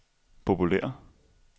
populære